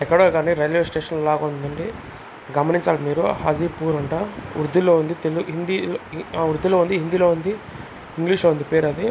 ఎక్కడో అండి రైల్వే స్టేషన్లా ఉందండి. గమనించాల మీరు హాజీపూర్ అంట ఉర్దూలో ఉంది తెలు హిందీ ఆ ఉర్దూలో ఉంది హిందీ లో ఉంది ఇంగ్లీష్ లో ఉంది పేరు అది.